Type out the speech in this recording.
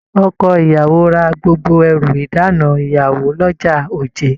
Ọkọ ìyàwó rà gbogbo ẹrù ìdána ìyàwó l'ọja Oje.